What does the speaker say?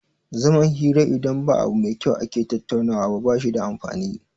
Zaman hira idan ba abu mai kyau ake tattaunawa ba bashi da amfani